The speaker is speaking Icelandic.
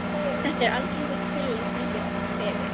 Þetta er algengur kvilli og fylgir oft kvefi.